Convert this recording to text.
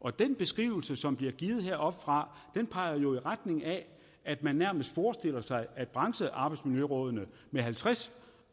og den beskrivelse som bliver givet heroppefra peger jo i retning af at man nærmest forestiller sig at branchearbejdsmiljørådene med halvtreds